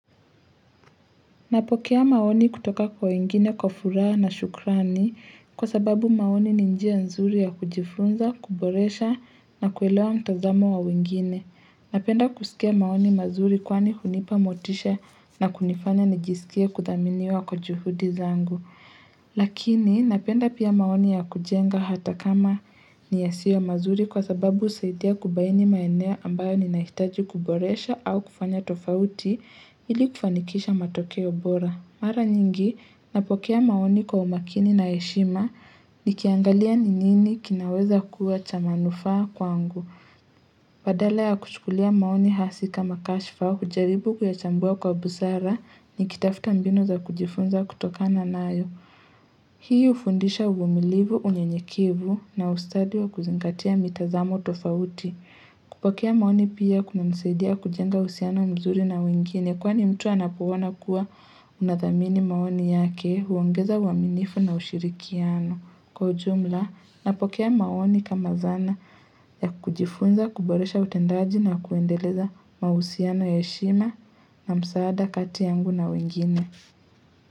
Napokea maoni kutoka kwa wengine kwa furaha na shukrani kwa sababu maoni ni njia nzuri ya kujifunza, kuboresha na kuelewa mtazamo wa wengine. Napenda kusikia maoni mazuri kwani hunipa motisha na kunifanya nijisikia kudhaminiwa kwa juhudi zangu. Lakini napenda pia maoni ya kujenga hata kama ni yasiyo mazuri kwa sababu husaidia kubaini maeneo ambayo ninahitaji kuboresha au kufanya tofauti ili kufanikisha matokeo bora Mara nyingi napokea maoni kwa umakini na heshima nikiangalia ni nini kinaweza kuwa cha manufaa kwangu Badala ya kuchukulia maoni hasi kama kashfa hujaribu kuyachambua kwa busara nikitafuta mbinu za kujifunza kutokana nayo Hii hufundisha uvumilivu, unyenyekevu na ustadi wa kuzingatia mitazamo tofauti. Kupokea maoni pia kunanisaidia kujenga uhusiano mzuri na wengine kwani mtu anapoona kuwa unathamini maoni yake, huongeza uaminifu na ushirikiano. Kwa ujumla, napokea maoni kama zana ya kujifunza, kuboresha utendaji na kuendeleza mahusiano ya heshima na msaada kati yangu na wengine.